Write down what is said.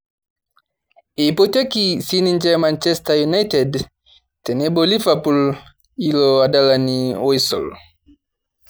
Eipotieki sininje Manchester united tenebo Liverpool ilo adalani oisul